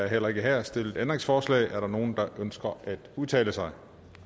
heller ikke her stillet ændringsforslag er der nogen der ønsker at udtale sig